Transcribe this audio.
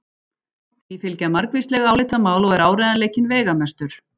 Því fylgja margvísleg álitamál og er áreiðanleikinn veigamestur.